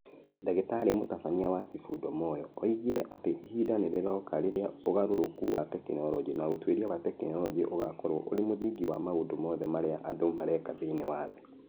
Ndagĩtarĩ Mũtabania wa Sifundo Moyo oigire atĩ ihinda nĩ rĩroka rĩrĩa ũgarũrũku wa tekinolonjĩ na ũtuĩria wa tekinolonjĩ ũgaakorwo ũrĩ mũthingi wa maũndũ mothe marĩa andũ mareka thĩinĩ wa thĩ.